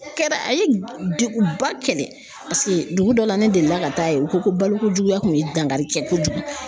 Kɛra a ye degu ba kɛlɛ paseke dugu dɔ la ne deli la ka taa ye u ko ko baloko juguya tun ye dankari kɛ kojugu.